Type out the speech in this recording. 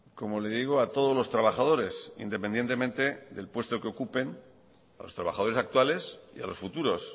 como le digo a todos los trabajadores independientemente del puesto que ocupen a los trabajadores actuales y a los futuros